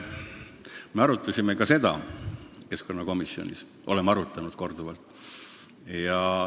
Me arutasime ka seda keskkonnakomisjonis, oleme seda arutanud korduvalt.